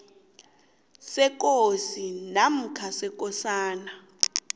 sekosi namkha sekosana